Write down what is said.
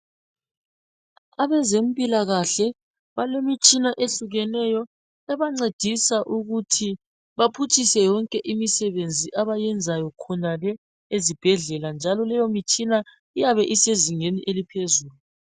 Abezempilakahle balemitshina ehlukeneyo ebancedisa ukuthi baphutshise yonke imisebenzi abayiyenzayo khonale ezibhedlela njalo leyo mitshina iyabe isezingeni eliphezulu.